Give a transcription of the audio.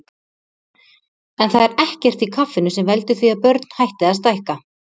En það er ekkert í kaffinu sem veldur því að börn hætti að stækka.